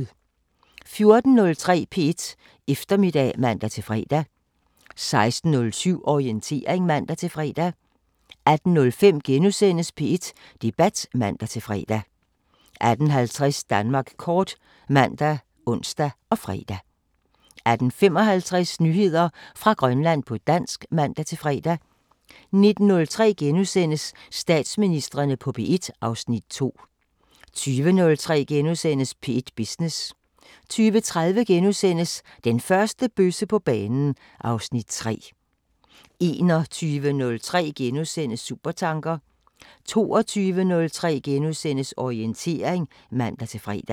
14:03: P1 Eftermiddag (man-fre) 16:07: Orientering (man-fre) 18:05: P1 Debat *(man-fre) 18:50: Danmark kort ( man, ons, fre) 18:55: Nyheder fra Grønland på dansk (man-fre) 19:03: Statsministrene på P1 (Afs. 2)* 20:03: P1 Business * 20:30: Den første bøsse på banen (Afs. 3)* 21:03: Supertanker * 22:03: Orientering *(man-fre)